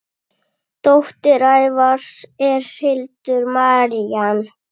Dóttir Ævars er Hildur Marín.